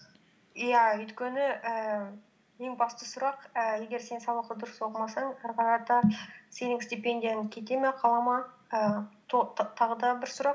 иә өйткені ііі ең басты сұрақ ііі егер сен сабақты дұрыс оқымасаң ары қарата сенің стипендияң кете ме қала ма ііі тағы да бір сұрақ